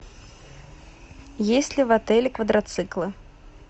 есть ли в отеле квадроциклы